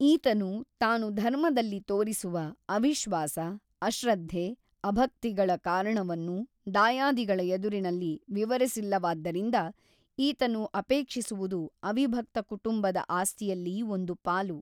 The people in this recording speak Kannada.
ಈತನು ತಾನು ಧರ್ಮದಲ್ಲಿ ತೋರಿಸುವ ಅವಿಶ್ವಾಸ ಅಶ್ರದ್ಧೆ ಅಭಕ್ತಿಗಳ ಕಾರಣವನ್ನು ದಾಯಾದಿಗಳ ಎದುರಿನಲ್ಲಿ ವಿವರಿಸಿಲ್ಲವಾದ್ದರಿಂದ ಈತನು ಅಪೇಕ್ಷಿಸುವುದು ಅವಿಭಕ್ತ ಕುಟುಂಬದ ಆಸ್ತಿಯಲ್ಲಿ ಒಂದು ಪಾಲು.